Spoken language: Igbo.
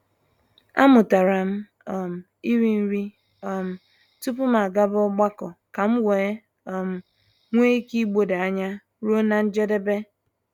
A mụtara m um ịrị nri um tupu m gbaba ọgbakọ kam wee um nwee ike igbodo anya ruo na njedebe.